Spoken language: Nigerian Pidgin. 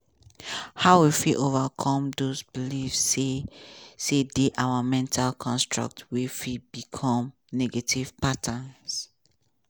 how we fit overcome those beliefs say say dey our mental constructs wey fit become negative patterns?